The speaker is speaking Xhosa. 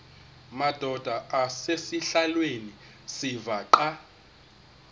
madod asesihialweni sivaqal